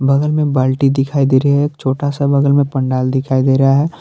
बगल में बाल्टी दिखाई दे रही है एक छोटा सा बगल में पंडाल दिखाई दे रहा है।